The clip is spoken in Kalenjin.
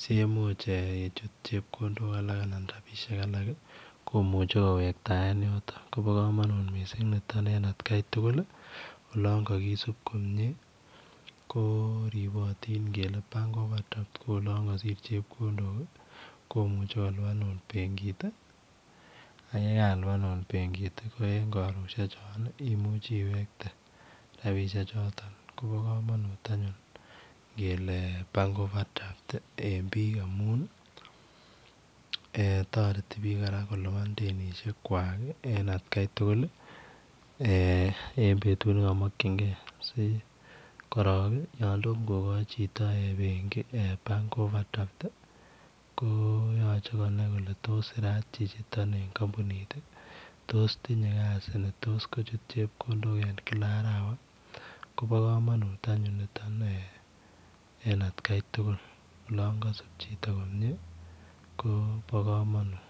siimuch yeit chepkondok chotoon koimuuch ko lipanen alaak komuchei ko wektaen yotton Kobo kamanut nitoon en at Kai tuguul ii olaan kakisuip ripotiin komyei ngele [bank overdraft] ko olaan kasiit chepkondok ii komuchei kolupaan akoot be kit ii ko ye kalupanuun akoot benkiit ii ko en karosheek chotoon ko imuche iwegtoi koba kamanut ngele [bank overdraft] amuun taretii biik eeh taretii biik kolupaan denisiek kwaak en betut ne kamakyigei si korong yaan tomah kogoi Chito agei [overdraft] ii ko yachei Konami kole tos sirat chichi toon eng kampunit ii tos tinyei kasii chichitoon ii koba kamanut anyuun nitoon en at Kai tuguul olaan kasaap chito komyei ii bo kamanut.